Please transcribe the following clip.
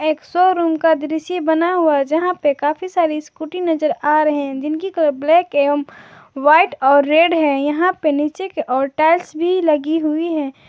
एक शोरूम का दृश्य बना हुआ जहां पे काफी सारी स्कूटी नजर आ रहे हैं जिनकी कलर ब्लैक एवं व्हाइट और रेड है यहां पे नीचे के ओर टाइल्स भी लगी हुई है।